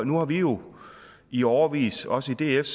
nu har vi jo i årevis også i df